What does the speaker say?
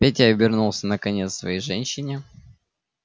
петя обернулся наконец к своей женщине